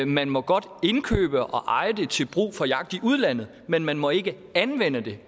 man må godt indkøbe og eje det til brug for jagt i udlandet men man må ikke anvende det